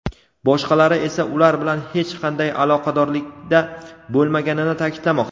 boshqalari esa ular bilan hech qanday aloqadorlikda bo‘lmaganini ta’kidlamoqda.